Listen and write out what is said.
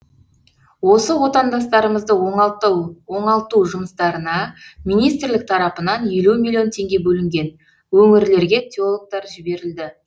осы отандастарымызды оңалту жұмыстарына министрлік тарапынан елу миллион теңге бөлінген өңірлерге теологтар жіберілді